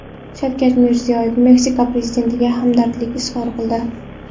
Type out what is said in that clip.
Shavkat Mirziyoyev Meksika prezidentiga hamdardlik izhor qildi.